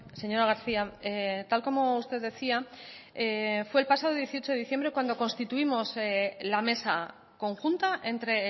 señora garcía tal como usted decía fue el pasado dieciocho de diciembre cuando constituimos la mesa conjunta entre